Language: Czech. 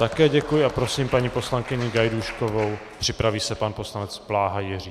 Také děkuji a prosím paní poslankyni Gajdůškovou, připraví se pan poslanec Bláha Jiří.